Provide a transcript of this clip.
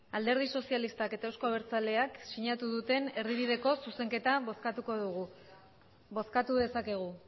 alderdi sozialistak eta euzko abertzaleak sinatu duten erdibideko zuzenketa bozkatuko dugu bozkatu dezakegu